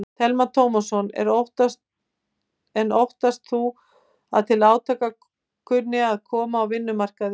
Telma Tómasson: En óttast þú að til átaka kunni að koma á vinnumarkaði?